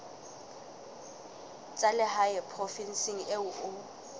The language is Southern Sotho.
tsa lehae provinseng eo o